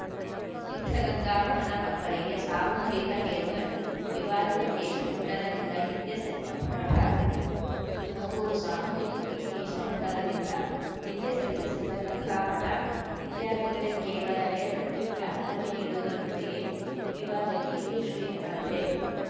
ಸಿದ್ಧಗಂಗಾ ಮಠದ ಮಕ್ಕಳಿಗೆ ಸಾಮೂಹಿಕ ಹೇರ್‌ಕಟ್‌ ವಿವಾದಿತ ಕೇಶಮುಂಡನದಿಂದ ಹಿಂದೆ ಸರಿ ಮಠ ತುಮಕೂರು ಸಾಮೂಹಿಕ ಕೇಶಮುಂಡನದಿಂದ ಹಿಂದೆ ಸರಿದ ಸಿದ್ಧಗಂಗಾ ಮಠ ವಿದ್ಯಾರ್ಥಿಗಳಿಗೆ ಕೇವಲ ಹೇರ್‌ ಕಟಿಂಗ್‌ಗೆ ಅನುಮತಿ ನೀಡುವುದರೊಂದಿಗೆ ವಿವಾದಕ್ಕೆ ಇತಿಶ್ರೀ ಹಾಡಿದೆ